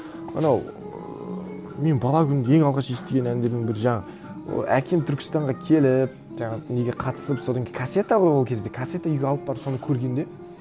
анау ыыы мен бала күнімде ең алғаш естіген әндерімнің бірі жаңа әкем түркістанға келіп жаңағы неге қатысып содан кейін кассета ғой ол кезде кассета үйге алып барып соны көргенде